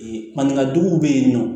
Maninkajuguw bɛ yen nɔ